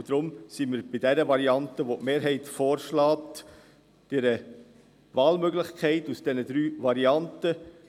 Deshalb stehen wir hinter der Variante, welche die Mehrheit vorschlägt, also einer Wahlmöglichkeit aus diesen drei Varianten: